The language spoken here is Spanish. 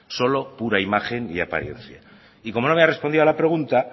solo una imagen y apariencia y como no me ha respondido a la pregunta